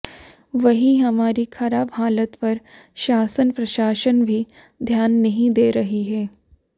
वहीं हमारी खराब हालत पर शासन प्रशासन भी ध्यान नहीं दे रही है